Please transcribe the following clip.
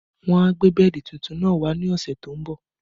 Wọ́n a gbé bẹ́ẹ̀dì tuntun náà wá ní ọ̀sẹ̀ tó ń bọ̀